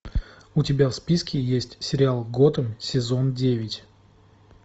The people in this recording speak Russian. у тебя в списке есть сериал готэм сезон девять